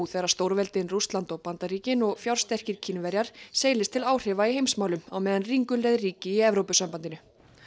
þegar stórveldin Rússland og Bandaríkin og fjársterkir Kínverjar seilist til áhrifa í heimsmálum á meðan ringulreið ríki í Evrópusambandinu